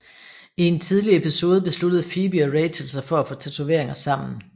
I en tidlig episode besluttede Phoebe og Rachel sig for at få tatoveringer sammen